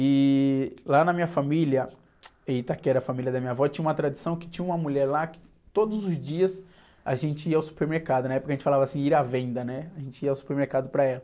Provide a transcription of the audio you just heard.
E lá na minha família, em Itaquera, a família da minha avó, tinha uma tradição que tinha uma mulher lá que todos os dias a gente ia ao supermercado, na época a gente falava assim, ir à venda, né? A gente ia ao supermercado para ela.